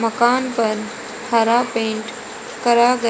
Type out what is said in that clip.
मकान पर हर पेंट करा गया--